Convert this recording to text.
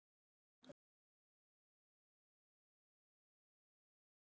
Þín frænka, Sigrún.